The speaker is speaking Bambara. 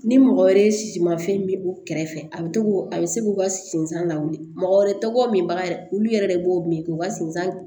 Ni mɔgɔ wɛrɛ si ma fɛn min u kɛrɛfɛ a bɛ to k'u a bɛ se k'u ka sensen lawuli mɔgɔ wɛrɛ tɔgɔ min ba yɛrɛ olu yɛrɛ de b'o min k'u ka sensan